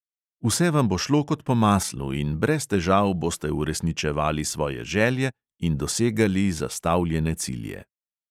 Vse vam bo šlo kot po maslu in brez težav boste uresničevali svoje želje in dosegali zastavljene cilje.